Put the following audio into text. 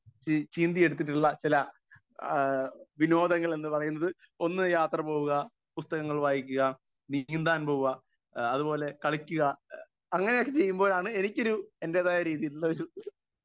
speaker 1 ചീ ചീന്തിയെടുത്തിട്ടുള്ള ചില ആ വിനോദങ്ങൾ എന്ന് പറയുന്നത് ഒന്ന് യാത്ര പോവുക, പുസ്തകങ്ങൾ വായിക്കുക, നീന്താൻ പോവുക ഏഹ് അതുപോലെ കളിക്കുക അങ്ങനെ ഒക്കെ ചെയ്യുമ്പോഴാണ് എനിക്കൊരു എൻ്റെതായ രീതിയിയിലുള്ള ഒരു